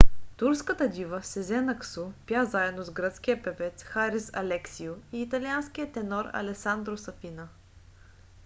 турската дива сезен аксу пя заедно с гръцкия певец харис алексиу и италианския тенор алесандро сафина